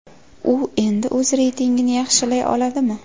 U endi o‘z reytingini yaxshilay oladimi?